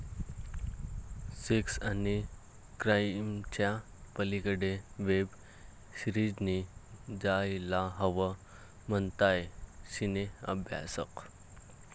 sex आणि क्राईमच्या पलिकडे वेब सीरिजनी जायला हवं, म्हणतायत सिने अभ्यासक